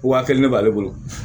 Waa kelen ne b'ale bolo